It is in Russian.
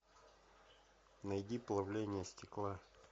найди плавление стекла